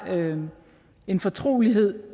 en fortrolighed